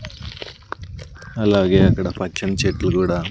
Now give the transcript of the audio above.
అలాగే అక్కడ పచ్చని చెట్లు కూడా--